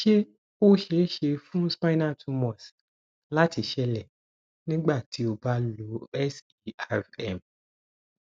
se o ṣee ṣe fun spinal tumors láti ṣeélẹ nígbà tí o ba lo serm